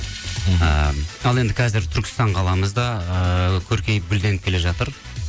ыыы ал енді қазір түркістан қаламыз да ыыы көркейіп гүлденіп келе жатыр